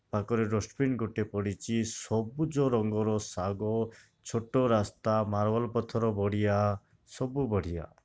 ଆଗରେ ଡସ୍ଟବିନ୍ ଗୋଟେ ପଡିଛି ସବୁଜ ରଙ୍ଗର ସାଗ ଛୋଟ ରାସ୍ତା ମାର୍ବଲ୍ ପଥର ବଡିଆ ସବୁ ବଢିଆ।